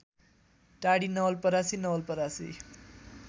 Tadi Nawalparasi Nawalparasi